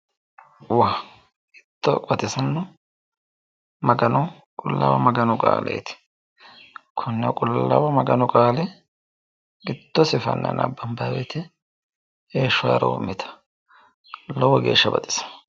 waa! hiitto baxisanno qullaawa maganu qaaleeti konne qullaawa maganu qaale giddosi fanne nabbabanni wote heeshsho haaroommitanno. lowo geeshsha baxissanno.